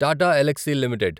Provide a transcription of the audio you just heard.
Tata Elxsi limited